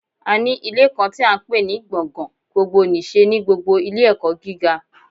A ní Ilé kan tí à n pè ní gbọ̀ngàn gbogbo nìse ní gbogbo Ilé ẹ̀kọ́ gíga